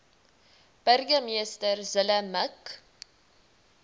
burgemeester zille mik